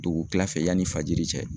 Dugu kila fɛ ,yanni fajiri cɛ